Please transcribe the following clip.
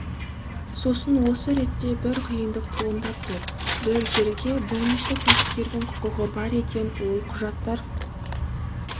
сосын осы ретте бір қиындық туындап тұр бір жерге бірнеше кәсіпкердің құқығы бар екен ол құжаттар